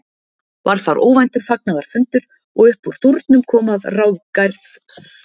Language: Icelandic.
Varð þar óvæntur fagnaðarfundur og uppúr dúrnum kom að ráðgerð var samvinna Sunnu og